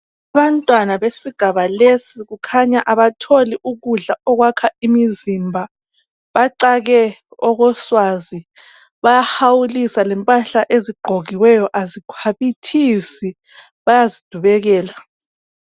Abantwana besigaba lesi kukhanya abatholi ukudla okwakha imizimba. Bacake okoswazi bayahawulisa lempahla ezigqokiweyo azikhwabithisi. Bayazidubekela.